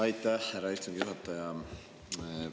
Aitäh, härra istungi juhataja!